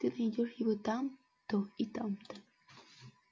ты найдёшь его там-то и там-то